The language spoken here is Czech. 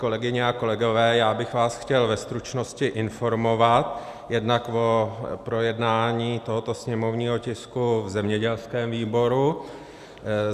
Kolegyně a kolegové, já bych vás chtěl ve stručnosti informovat jednak o projednání tohoto sněmovního tisku v zemědělském výboru.